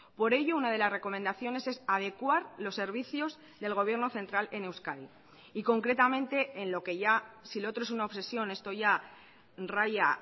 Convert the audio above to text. por ello una de las recomendaciones es adecuar los servicios del gobierno central en euskadi y concretamente en lo que ya si lo otro es una obsesión esto ya raya